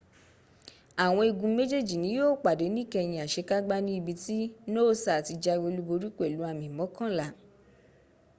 àwọn igun méjèèjì ni yíó pàdé níkẹyìn àsekágbá ní ibi tí noosa ti jáwé olúborí pẹ̀lú àmì mọ́kànlá